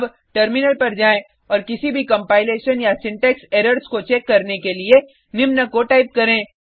अब टर्मिनल पर जाएँ और किसी भी कंपाइलेशन या सिंटेक्स एरर्स को चेक करने के लिए निम्न को टाइप करें